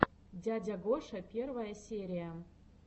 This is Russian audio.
дядя гоша первая серия